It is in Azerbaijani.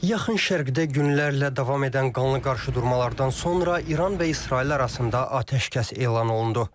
Yaxın Şərqdə günlərlə davam edən qanlı qarşıdurmalardan sonra İran və İsrail arasında atəşkəs elan olundu.